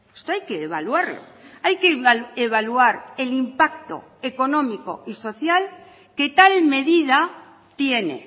esto hay que evaluarlo hay que evaluar el impacto económico y social que tal medida tiene